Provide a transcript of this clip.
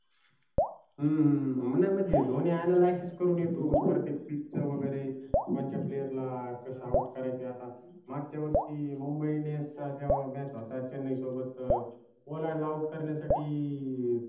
हम्म नाय म्हनजे धोनी analysis करुन येतो pitch च वगैरे कोनच्या player ला कस out करायचय आता मागच्या वर्षी मुंबई indians च जवा match होता चेन्नई सोबत त pollard ला out करन्यासाठी